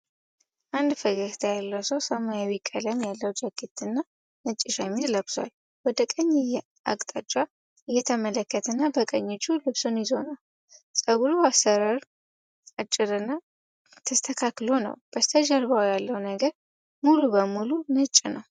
አንድ ፈገግታ ያለው ሰው ሰማያዊ ቀለም ያለው ጃኬት እና ነጭ ሸሚዝ ለብሷል:: ወደ ቀኝ አቅጣጫ እየተመለከተና በቀኝ እጁ ልብሱን ይዞ ነው:: የፀጉሩ አሠራር አጭርና ተስተካክሎ ነው:: በስተጀርባው ያለው ነገር ሙሉ በሙሉ ነጭ ነው::